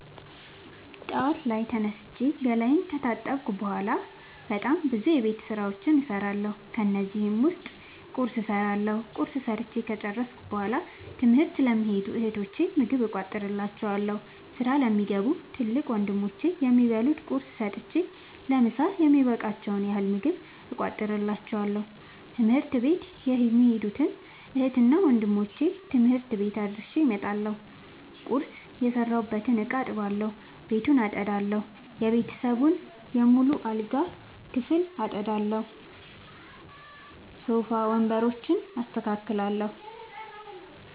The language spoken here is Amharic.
ጠዋት ላይ ተነስቼ ገላየን ከታጠብኩ በሗላ በጣም ብዙ የቤት ዉስጥ ስራዎችን እሠራለሁ። ከነዚህም ዉስጥ ቁርስ እሠራለሁ። ቁርስ ሠርቸ ከጨረሥኩ በሗላ ትምህርት ለሚኸዱ እህቶቸ ምግብ እቋጥርላቸዋለሁ። ስራ ለሚገቡ ትልቅ ወንድሞቼም የሚበሉት ቁርስ ሰጥቸ ለምሣ የሚበቃቸዉን ያህል ምግብ እቋጥርላቸዋለሁ። ትምህርት ቤት የሚኸዱትን እህትና ወንድሞቼ ትምህርት ቤት አድርሼ እመጣለሁ። ቁርስ የሰራሁበትን እቃ አጥባለሁ። ቤቱን አጠዳለሁ። የቤተሰቡን በሙሉ የአልጋ ክፍል አጠዳለሁ። ሶፋ ወንበሮችን አስተካክላለሁ።